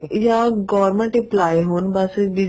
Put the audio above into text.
ਜਾਂ government employer ਹੋਣ ਬੱਸ